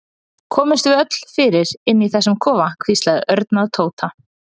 Komumst við öll fyrir inni í þessum kofa? hvíslaði Örn að Tóta.